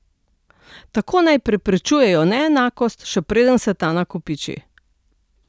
Tako naj preprečujejo neenakost, še preden se ta nakopiči.